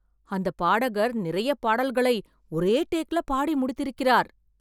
அந்தப் பாடகர் நிறைய பாடல்களை ஒரே டேக் ல பாடி முடித்திருக்கிறார்